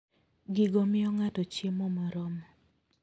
Gigo miyo ng'ato chiemo moromo.